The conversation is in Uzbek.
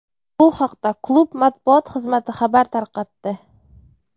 Bu haqda klub matbuot xizmati xabar tarqatdi.